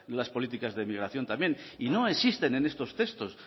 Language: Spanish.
las políticas de migración también y no existen en estos textos